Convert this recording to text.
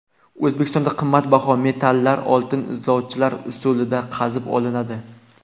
O‘zbekistonda qimmatbaho metallar oltin izlovchilar usulida qazib olinadi.